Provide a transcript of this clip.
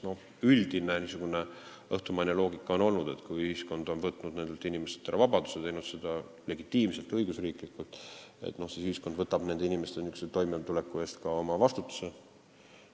Üldine õhtumaine loogika on olnud, et kui ühiskond on võtnud nendelt inimestelt ära vabaduse, teinud seda legitiimselt, õigusriiklikult, siis võtab ühiskond nende inimeste toimetuleku oma vastutusele.